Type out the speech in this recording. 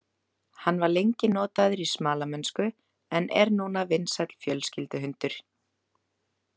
Hann var lengi notaður í smalamennsku en er núna vinsæll fjölskylduhundur.